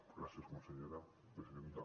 gràcies consellera presidenta